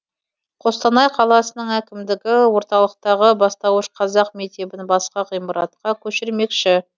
қостанай қаласының әкімдігі орталықтағы бастауыш қазақ мектебін басқа ғимаратқа көшірмекші